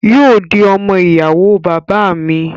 Yóò di ọmọ ìyàwó bàbá à mi